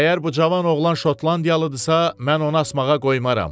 Əgər bu cavan oğlan Şotlandiyalıdırsa, mən onu asmağa qoymaram.